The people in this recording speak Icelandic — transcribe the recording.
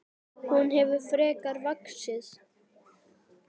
Hún hefur frekar vaxið.